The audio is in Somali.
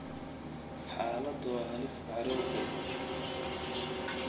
Xaaladdu waa halis carruurtayda